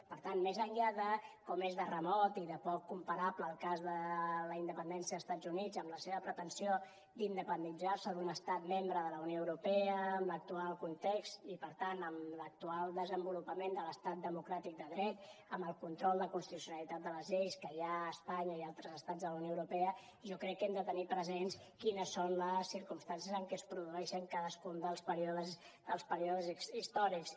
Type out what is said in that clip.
per tant més enllà de com és de remot i de poc comparable el cas de la independència d’estats units amb la seva pretensió d’independitzar se d’un estat membre de la unió europea amb l’actual context i per tant amb l’actual desenvolupament de l’estat democràtic de dret amb el control de constitucionalitat de les lleis que hi ha a espanya i a altres estats de la unió europea jo crec que hem de tenir presents quines són les circumstàncies en què es produeixen cadascun dels períodes històrics